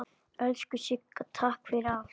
Elsku Sigga, takk fyrir allt.